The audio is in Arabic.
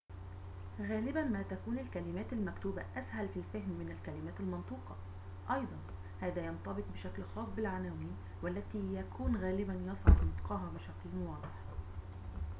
غالباً ما تكون الكلمات المكتوبة أسهل في الفهم من الكلمات المنطوقة أيضاً هذا ينطبق بشكل خاص بالعناوين والتي يكون غالباً يصعب نطقها بشكل واضح